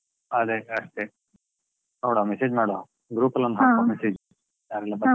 ಅದೇ ಅಷ್ಟೇ, ನೋಡ್ವಾ message ಮಾಡ್ವಾ, group ಅಲ್ಲೊಂದ್ message .